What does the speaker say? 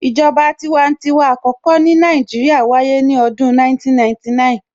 ìjọba tiwantiwa àkọ́kọ́ ní Nàìjíríà wáyé ní ọdún 1999